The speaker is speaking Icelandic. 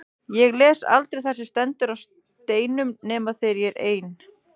Ég les aldrei það sem stendur á steinum nema þegar ég er ein.